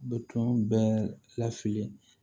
Bɛ tun bɛ lafili